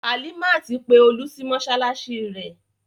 Halimat pe Olú sí mọ́ṣáláṣí rẹ̀.